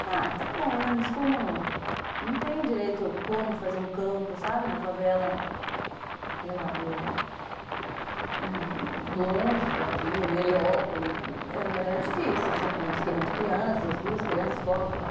Falei, ah, está bom, mas como eu não tenho direito como fazer um campo, sabe, na favela, sei lá, longe daqui, no Heliópolis, era difícil, assim, com esquema de crianças, duas crianças, escola, trabalho.